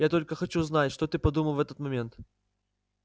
я только хочу знать что ты подумал в этот момент